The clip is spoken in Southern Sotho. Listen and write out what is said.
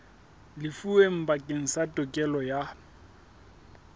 lefuweng bakeng sa tokelo ya